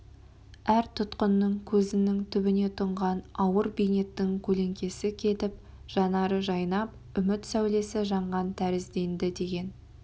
әр тұтқынның көзінің түбіне тұнған ауыр бейнеттің көлеңкесі кетіп жанары жайнап үміт сәулесі жанған тәрізденді деген